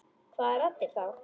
Hvaða raddir þá?